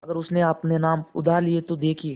अगर उसने अपने नाम उधार लिखा हो तो देखिए